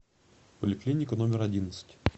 поликлиника номер одиннадцать